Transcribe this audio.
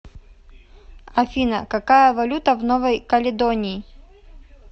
афина какая валюта в новой каледонии